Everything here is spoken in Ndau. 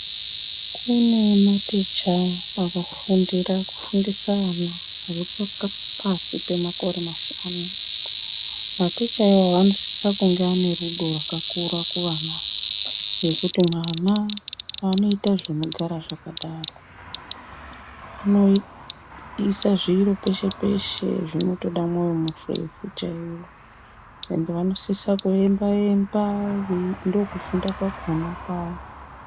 Kune maticha akafundira kufundisa vana vaei pasi pemakore mashanu mateacher iwawo anosisa kunge ane rudo rwakakura kuvana ava nekuti mwana unoita zvinogara zvakadaro unoisa zviro peshe peshe zvinotoda mwoyo murefu chaiwo ende vanosisa kuemba emba vei ndokufunda kwakona kwavo.